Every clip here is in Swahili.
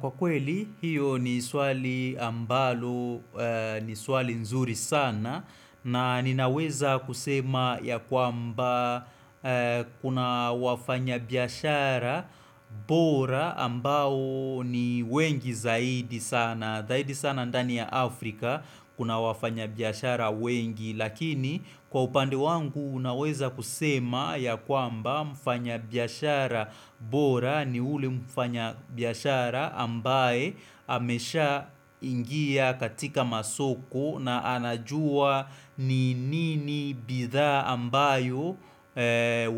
Kwa kweli, hiyo ni swali ambalo, ni swali nzuri sana na ninaweza kusema ya kwamba kuna wafanya biashara bora ambao ni wengi zaidi sana. Na dhaidi sana ndani ya Afrika kuna wafanya biashara wengi. Lakini kwa upande wangu unaweza kusema ya kwamba mfanya biashara bora ni yule mfanya biashara ambaye amesha ingia katika masoko na anajua ni nini bidhaa ambayo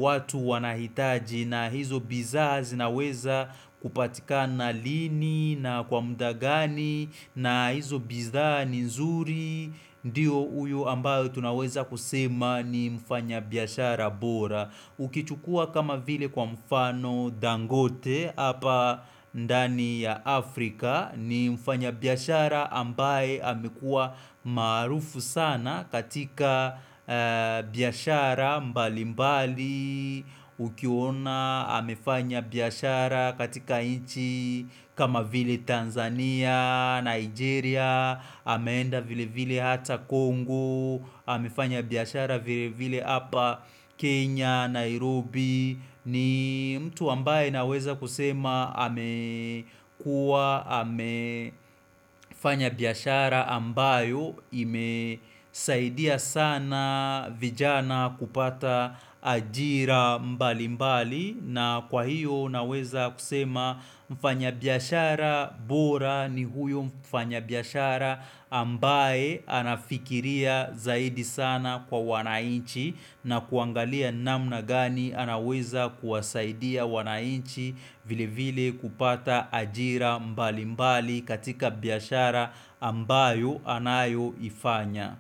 watu wanahitaji. Na hizo bidhaa zinaweza kupatikana lini na kwa muda gani na hizo bidhaa ni nzuri Ndiyo uyo ambayo tunaweza kusema ni mfanya biashara bora Ukichukua kama vile kwa mfano dangote hapa ndani ya Afrika ni mfanya biashara ambaye amekua marufu sana katika biashara mbali mbali Ukiona amefanya biashara katika inchi kama vile Tanzania, Nigeria ameenda vile vile hata Kongo amefanya biashara vile vile hapa Kenya, Nairobi ni mtu ambaye naweza kusema ame kuwa amefanya biashara ambayo imesaidia sana vijana kupata ajira mbali mbali na kwa hiyo naweza kusema mfanya biashara bora ni huyo mfanya biashara ambaye anafikiria zaidi sana kwa wanainchi na kuangalia namna gani anaweza kuwasaidia wanainchi vile vile kupata ajira mbali mbali katika biashara ambayo anayoifanya.